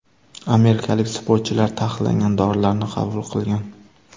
Amerikalik sportchilar taqiqlangan dorilarni qabul qilgan.